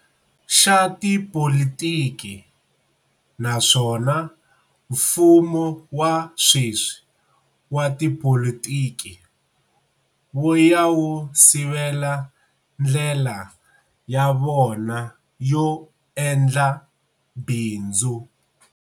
Xa tipolitiki, naswona mfumo wa sweswi wa tipolitiki wu ya wu sivela ndlela ya vona yo endla bindzu.